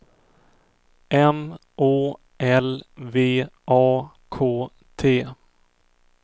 M Å L V A K T